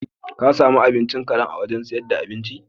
Ka sami abincin karen a wurin sayar da abinci?